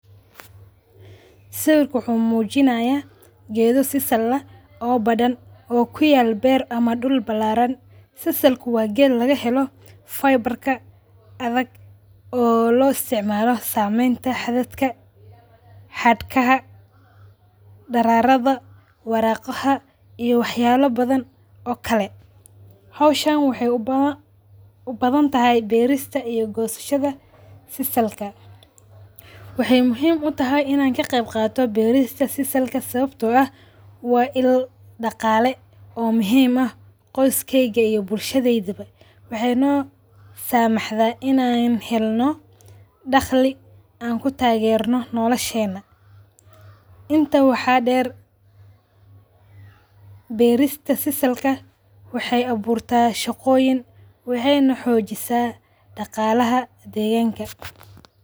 Sawirka wuxu mujinaya geedho sisal aah oo badan oo kuyalo beer ama duul balaraan. sisal waa geed lagahelo fibre ka adag oo loo isticmalo sameenta hadadka, haadka, dararada, waraqaha, iyo waxyaala badhan oo kale. Hawshan waxay u badhantahy beerista iyo goosashada sisal ka. Waxay muhiim u tahay ina ka qayb qaato beerista sisal ka sababto aah waa ill dagaale oo muhiim aah qoyskeyga iyo bulshadyda ba .Waxay nosamahda inaa helno daagli an ku tagerno noolasheyna. Intan waxa deer beerista sisal ka waxay abuurta shagoyiin waxyna hoojisa dagalaha deganka.